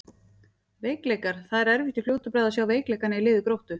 Veikleikar: Það er erfitt í fljótu bragði að sjá veikleikana í liði Gróttu.